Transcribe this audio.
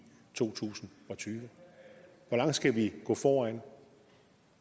to tusind og tyve hvor langt skal vi gå foran